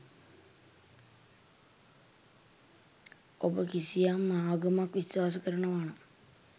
ඔබ කිසියම් ආගමක් විශ්වාස කරනවානම්